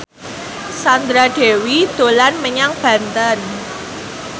Sandra Dewi dolan menyang Banten